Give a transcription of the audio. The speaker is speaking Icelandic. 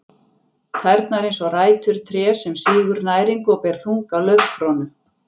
Tærnar eins og rætur trés sem sýgur næringu og ber þunga laufkrónu.